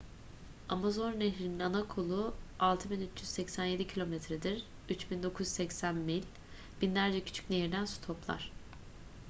amazon nehri'nin ana kolu 6,387 km'dir 3,980 mil. binlerce küçük nehirden su toplar